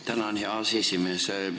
Tänan, hea aseesimees!